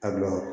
A bila wa